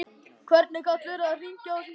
Hver gat verið að hringja á þessum tíma?